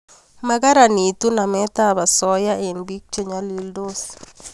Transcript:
Magaranitu namet ab asoya eng' biik che nyalildos